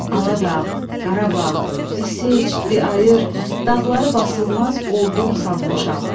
Aladağ, Qarabağ, di seçdi ayır, dağları basılmaz ordum sanmışam.